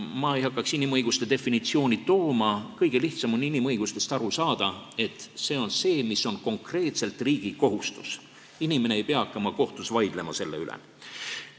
Ma ei hakka inimõiguste definitsiooni tooma, kõige lihtsam on inimõigustest aru saada nii, et see on see, mis on konkreetselt riigi kohustus, inimene ei pea hakkama kohtus selle üle vaidlema.